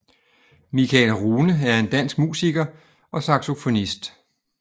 Michael Rune er en dansk musiker og saxofonist